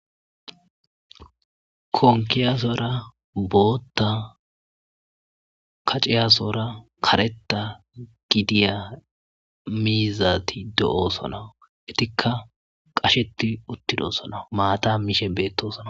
konkiyasora bootta kaciyasora kareta gidiya miizati do'oosonawu etikka qasheti uttidosonawu maata miishe beettosona